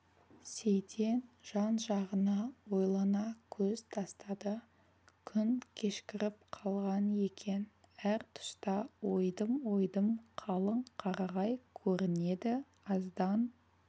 сейтен жан-жағына ойлана көз тастады күн кешкіріп қалған екен әр тұста ойдым-ойдым қалың қарағай көрінеді аздан